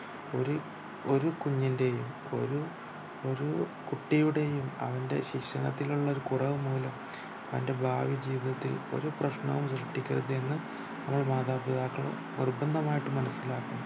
ഒരു ഒരു കുഞ്ഞിന്റെയും ഒരു ഒരു കുട്ടിയുടെയും അവന്റെ ശിക്ഷണത്തിലുള്ള ഒരു കുറവ് മൂലം അവന്റെ ഭാവി ജീവിതത്തിൽ ഒരു പ്രശ്നവും സൃഷ്ടിക്കരുതെന്നു നമ്മൾ മാതാപിതാക്കൾ നിര്ബന്ധമായിട്ടും മനസിലാക്കണം